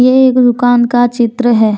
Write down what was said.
ये एक दुकान का चित्र है।